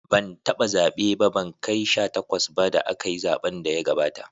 Ban taba zabe ba, ban kai sha takwas ba da akayi zaben da ya gabata.